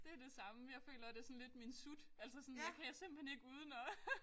Det det samme jeg føler det sådan lidt min sut altså sådan jeg kan simpelthen ikke uden og